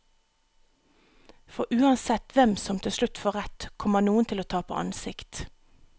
For uansett hvem som til slutt får rett, kommer noen til å tape ansikt.